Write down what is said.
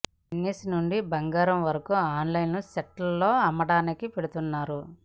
పిన్నీసు నుండి బంగారం వరకు ఆన్ లైన్ సైట్లలో అమ్మకాన్ని పెడుతున్నారు